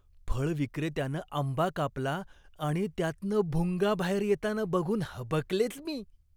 फळ विक्रेत्यानं आंबा कापला आणि त्यातनं भुंगा बाहेर येताना बघून हबकलेच मी.